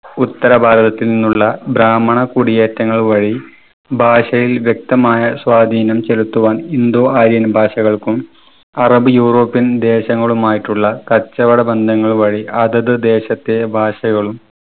ഉത്തരഭാഗത്തു നിന്നുമുള്ള ബ്രാഹ്മണ കുടിയേറ്റങ്ങൾ വഴി ഭാഷയിൽ വ്യക്തമായ സ്വാധീനം ചെലുത്തുവാൻ indo aryan ഭാഷകൾക്കും arab european ദേശങ്ങളും ആയിട്ടുള്ള കച്ചവട ബന്ധങ്ങൾ വഴി അതത് ദേശത്തെ ഭാഷകളും